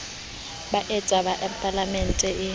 ba eta ha palaemente e